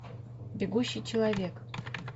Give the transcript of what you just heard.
бегущий человек